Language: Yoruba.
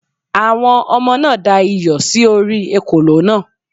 Àwọn ọmọ náà da iyọ̀ sí orí ekòló náà